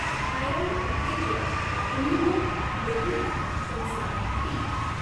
Thyroid उत्तेजक immunoglobulin कंसात T.